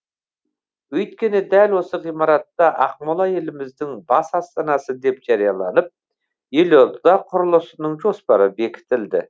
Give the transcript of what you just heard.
өйткені дәл осы ғимаратта ақмола еліміздің бас астанасы деп жарияланып елорда құрылысының жоспары бекітілді